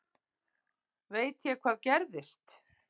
Veit ég hvað gerðist?